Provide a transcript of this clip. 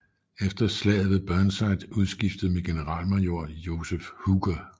Efter slaget blev Burnside udskiftet med generalmajor Joseph Hooker